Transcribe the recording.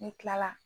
Ne kila la